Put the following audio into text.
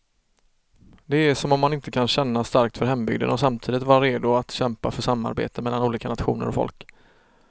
Det är som om man inte kan känna starkt för hembygden och samtidigt vara redo att kämpa för samarbete mellan olika nationer och folk.